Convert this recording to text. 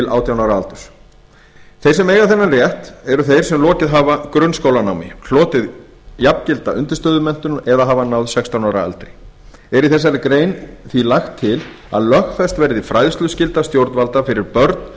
átján ára aldurs þeir sem eiga þennan rétt eru þeir sem lokið hafa grunnskólanámi hlotið jafngilda undirstöðumenntun eða hafa náð sextán ára aldri er í þessari grein lagt til að lögfest verði fræðsluskylda stjórnvalda fyrir börn að